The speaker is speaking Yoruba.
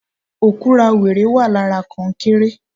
Òkúra wẹrẹ wà lára konkéré